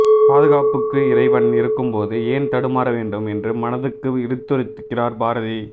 பாதுகாப்புக்கு இறைவன் இருக்கும்போது ஏன் தடுமாறவேண்டும் என்று மனத்துக்கு இடித்துரைக்கிறார் பாரதி